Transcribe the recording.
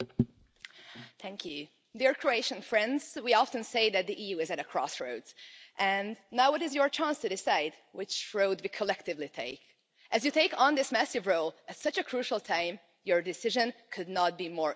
Madam President, dear Croatian friends, we often say that the EU is at a crossroads and now is your chance to decide which road we collectively take. As you take on this massive role at such a crucial time, your decision could not be more important.